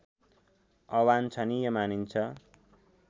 अवान्छनीय मानिन्छ